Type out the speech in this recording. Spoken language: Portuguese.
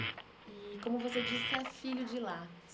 E, como você disse, é filho de lá.